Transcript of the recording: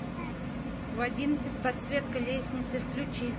в одиннадцать подсветка лестницы включи